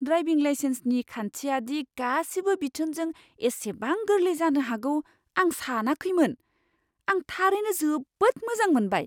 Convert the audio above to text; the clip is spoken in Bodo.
ड्राइभिं लाइसेन्सनि खान्थिया दि गासिबो बिथोनजों एसेबां गोरलै जानो हागौ आं सानाखैनोमोन । आं थारैनो जोबोद मोजां मोनबाय!